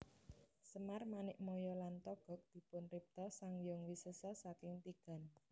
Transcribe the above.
Semar Manikmaya lan Togog dipunripta Sang Hyang Wisesa saking tigan